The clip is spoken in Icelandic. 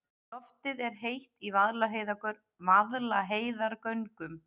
Loftið er heitt í Vaðlaheiðargöngum.